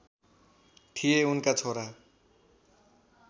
थिए उनका छोरा